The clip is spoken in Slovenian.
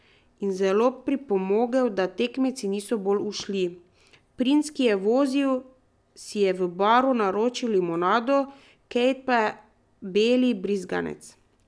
Princ, ki je vozil, si je v baru naročil limonado, Kate pa beli brizganec.